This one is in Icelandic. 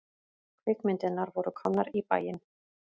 Kvikmyndirnar voru komnar í bæinn.